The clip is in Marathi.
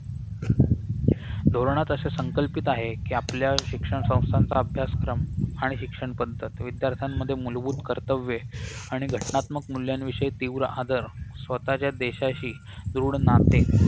धोरणात असे संकल्पित आहे कि आपल्या शिक्षण संस्थांचा अभ्यासक्रम आणि शिक्षण पद्धत विद्यार्थ्यांमध्ये मूलभूत कर्तव्ये आणि घटनात्मक मूल्यांविषयी तीव्र आदर स्वतःच्या देशाशी दृढ नाते